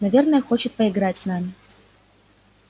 наверное хочет поиграть с нами